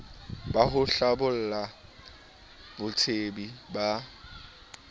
ba ho hlabolla botsebi ba